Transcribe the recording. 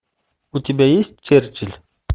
у тебя есть черчилль